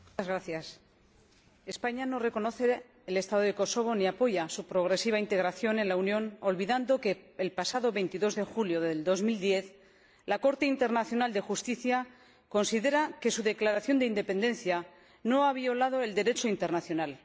Señor Presidente, España no reconoce el Estado de Kosovo ni apoya su progresiva integración en la Unión, olvidando que, el pasado 22 de julio de 2010, la Corte Internacional de Justicia consideró que su declaración de independencia no había violado el Derecho internacional.